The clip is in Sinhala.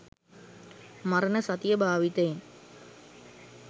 මරණ සතිය භාවිතයෙන්